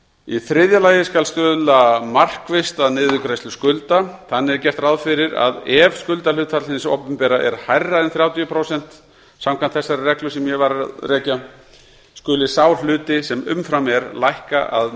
í þriðja lagi skal stuðla markvisst að niðurgreiðslu skulda þannig er gert ráð fyrir að ef skuldahlutfall hins opinbera er hærra en þrjátíu prósent samkvæmt þeirri reglu sem ég var að rekja skuli sá hluti sem umfram er lækka að